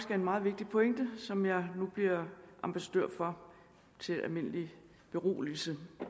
er en meget vigtig pointe som jeg nu bliver ambassadør for til almindelig beroligelse